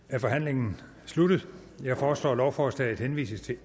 er forhandlingen sluttet jeg foreslår at lovforslaget henvises til